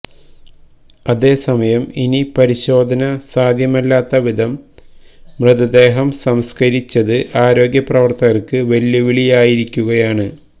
അതേസമയം ഇനി പരിശോധന സാധ്യമല്ലാത്ത വിധം മൃതദേഹം സംസ്കരിച്ചത് ആരോഗ്യ പ്രവര്ത്തകര്ക്ക് വെല്ലുവിളിയായിരിക്കുകയാണ്